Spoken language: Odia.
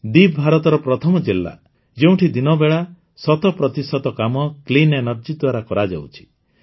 ଦୀବ୍ ଭାରତର ପ୍ରଥମ ଜିଲ୍ଲା ଯେଉଁଠି ଦିନବେଳା ଶତପ୍ରତିଶତ କାମ କ୍ଲିନ୍ ଏନର୍ଜି ଦ୍ୱାରା କରାଯାଉଛି